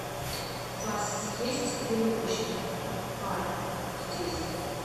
у вас есть веревочный парк здесь